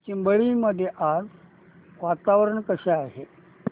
चिंबळी मध्ये आज वातावरण कसे आहे